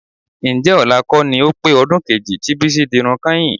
Ǹjẹ́ ọ̀la kọ́ ni ó pé ọdún kejì tí Bísí dirun kányìn?